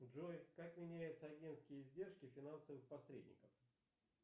джой как меняются агентские издержки финансовых посредников